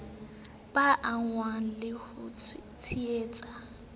ba angwang le ho tshwaetswa